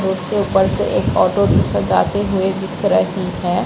Road के ऊपर से एक ऑटो रिक्शा जाते हुए दिख रही है।